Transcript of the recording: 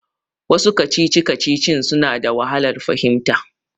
Wasu kacici-kacicicin suna da wahalar fahimta.